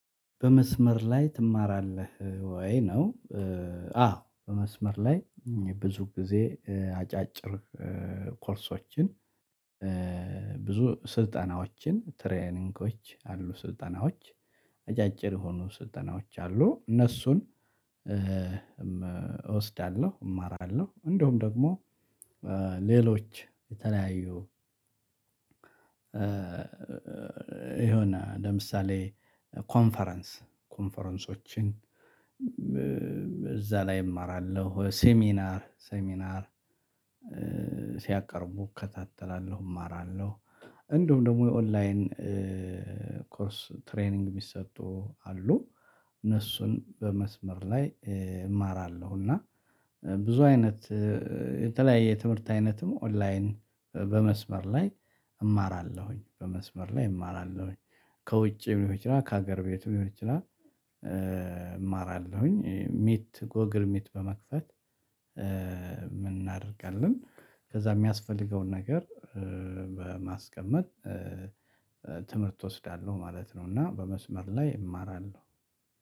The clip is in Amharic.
በመስመር ላይ ትማራለህ ወይ ነው? አዎ በመስመር ላይ ብዙ ጊዜ አጫጭር ኮርሶችን ብዙ ስልጠናዎችን ትሬኒንጎች አሉ ስልጠናዎች አጫጭር የሆኑ ስልጠናዎች አሉ። እነሱን እወስዳለሁ እማራለሁ እንደውም ደግሞ። ሌሎች የተለያዩ የሆነ ለምሳሌ ኮንፈረንስ ኮንፈረንሶችን እዛ ላይ እማራለሁ ሴሚናር ሴሚናር ሲያቀርቡ እከታተላለሁ እማራለሁ። እንደውም ደግሞ የኦንላይን ትሬኒንግ የሚሰጡ አሉ። እነሱን በመስመር ላይ እማራለሁ እና ብዙ አይነት የተለያየ የትምህርት አይነትም ኦንላይን በመስመር ላይ እማራለሁኝ። በመስመር ላይ እማራለሁኝ ከውጭ ብሎ ይችላል ከሀገር ቤቱ ብሎ ይችላል። እማራለሁኝ ሚት ጎግልሚት በመክፈት እናደርጋለን ከዛ የሚያስፈልገውን ነገር በማስቀመጥ ትምህርት እወስዳለሁ ማለት ነው። እና በመስመር ላይ እማራለሁ።